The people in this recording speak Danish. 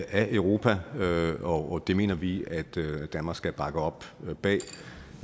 af europa og det mener vi at danmark skal bakke op